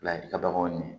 Ladili ka baganw minɛ